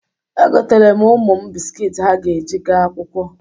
Egotere m ụmụ m biskiit ha ga-eji gaa akwụkwọ.